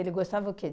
Ele gostava o quê?